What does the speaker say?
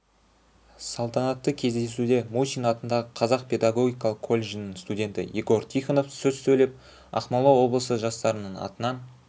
салтанатты кездесуде мусин атындағы қазақ педагогикалық колледжінің студенті егор тихонов сөз сөйлеп ақмола облысы жастарының атынан